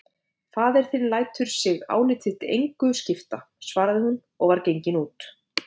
Faðir þinn lætur sig álit þitt engu skipta, svaraði hún og var gengin út.